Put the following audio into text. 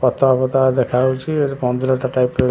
ପତଳା ପତଳା ଦେଖାଯାଉଛି ଏଠି ପନ୍ଦରଟା ଟାଇପ ର--